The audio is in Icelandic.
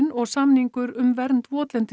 og samningur um vernd